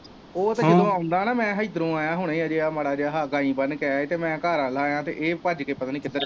ਉਹ ਤੇ ਕਿਧਰੋਂ ਆਉਦਾ ਨਾ ਮੈਂ ਹਿਦਰੋਂ ਆਇਆ ਹੁਣੇ ਹਜੇ ਮਾੜਾ ਜਿਹਾ ਹਾ ਗਾਂਈ ਬੰਨ ਕੇ ਆਇਆ ਤੇ ਮੈਂ ਘਰ ਵੱਲ ਆਇਆ ਹੀ ਤਾਂ ਇਹ ਭੱਜ ਕੇ ਪਤਾ ਨੀ ਕਿੱਧਰ ਚੱਲਗਿਆ।